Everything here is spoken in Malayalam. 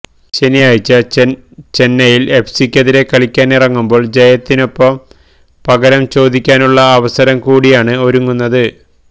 ശനിയാഴ്ച ചെന്നൈയിന് എഫ്സിക്കെതിരെ കളിക്കാനിറങ്ങുമ്പോള് ജയത്തിനൊപ്പം പകരം ചോദിക്കാനുള്ള അവസരം കൂടിയാണ് ഒരുങ്ങുന്നത്